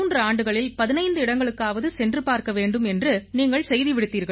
ஆண்டுகளில் 15 இடங்களுக்காவது சென்று பார்க்க வேண்டும் என்று நீங்கள் செய்தி விடுத்தீர்கள்